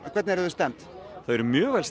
hvernig eru þau stemmd mjög vel